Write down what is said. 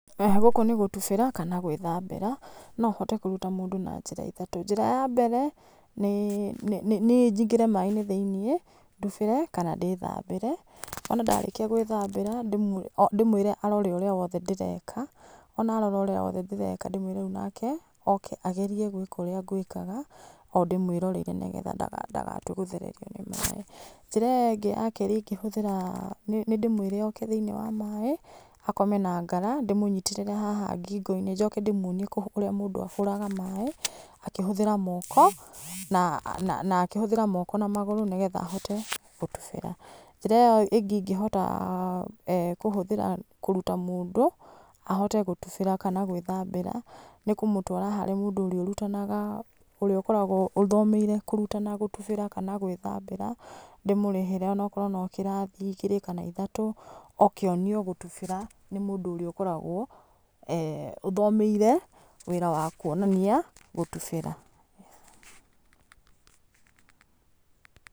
Gũkũ nĩ gũtubĩra kana gwĩthambĩra, nohote kũruta mũndũ na njĩra ithatũ, njĩra ya mbere nĩ nĩ nĩnyingĩre maĩ-inĩ thĩiniĩ ndubĩre kana ndĩthambĩre, ona ndarĩkia gwĩthambĩra ndĩmwĩre arore ũrĩa wothe ndĩreka, ona arora ũrĩa wothe ndĩreka ndĩmwĩre rĩu nake oke agerie gwĩka ũrĩa ngwĩkaga, o ndĩmwĩroreire, nĩgetha ndaga ndagatue gũthererio nĩ maĩ. Njĩra ĩyo ĩngĩ ya kerĩ ingĩhũthĩra nĩndĩmwĩre oke thĩiniĩ wa maĩ, akome na ngara ndĩmũnyitĩrĩre haha ngingo-inĩ, njoke ndĩmwonie ũrĩa mũndũ ahũraga maĩ akĩhũthĩra moko na akĩhũthĩra moko na magũrũ, nĩgetha ahote gũtubĩra. Njĩra ĩyo ingĩhota kũruta mũndũ ahote gũtubĩra kana gwĩthambĩra nĩ kũmũtwara harĩ mũndũ ũrĩa ũrutanaga, ũrĩa ũkoragwo ũthomeire kũrutana gũtubĩra kana gwĩthambĩra, ndĩmũrĩhĩre onakorwo no kĩrathi igĩrĩ kana ithatũ oke onio gũtubĩra nĩ mũndũ ũrĩa ũkoragwo ũthomeire wĩra wa kũonania gũtubĩra.